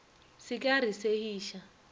se ke a re segiša